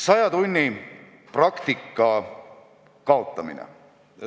Saja tunni praktika kaotamisest.